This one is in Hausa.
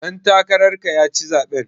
Ɗan takarar ka ya ci zaɓen.